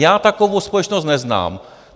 Já takovou společnost neznám.